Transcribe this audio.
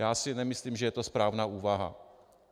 Já si nemyslím, že je to správná úvaha.